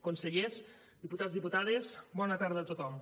consellers diputats diputades bona tarda a tothom